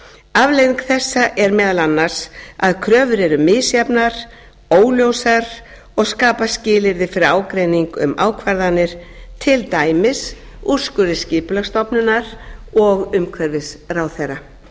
afleiðing þessa er meðal annars að kröfur eru misjafnar óljósar og skapa skilyrði fyrir ágreining um ákvarðanir til dæmis úrskurði skipulagsstofnunar og umhverfisráðherra